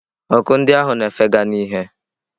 Ọkụ ndị ahụ na-efega n'ìhè.